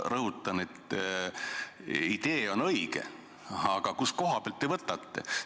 Ma rõhutan, et idee on õige, aga kust kohast te selle võtaksite?